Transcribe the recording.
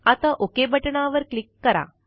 आता ओक बटणावर क्लिक करा